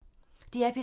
DR P3